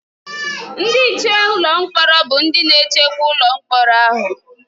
Ndị nche ụlọ mkpọrọ bụ ndị na-echekwa ụlọ mkpọrọ ahụ.